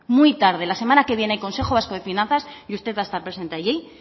muy tarde la semana que viene hay consejo vasco finanzas y usted va a estar presente allí